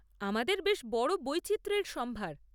আমাদের বেশ বড় বৈচিত্র্যের সম্ভার।